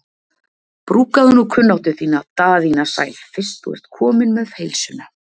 Brúkaðu nú kunnáttu þína Daðína sæl fyrst þú ert komin með heilsuna.